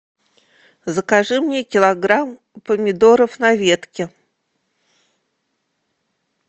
закажи мне килограмм помидоров на ветке